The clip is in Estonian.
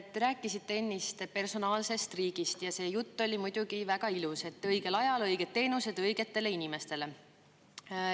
Te rääkisite ennist personaalsest riigist ja see jutt oli muidugi väga ilus, et õigel ajal õiged teenused õigetele inimestele.